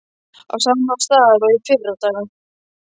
Á sama stað og í fyrradag.